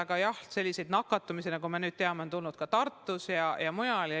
Aga jah, nakatumisi, nagu me nüüd teame, on ka Tartus ja mujal olnud.